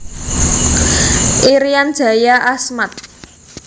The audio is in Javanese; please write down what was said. Irian Jaya Asmat